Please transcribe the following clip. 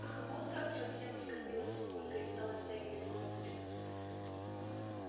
ах вот как совсем оскорбилась мамулька и стала стягивать кофточку